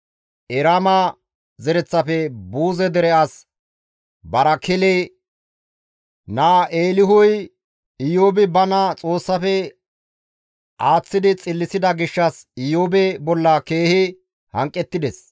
Eraama zereththafe Buuze dere as Barakele naa Eelihuy; Iyoobi bana Xoossafe aaththidi xillisida gishshas Iyoobe bolla keehi hanqettides.